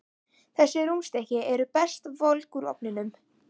Þessi rúnstykki eru best volg úr ofninum.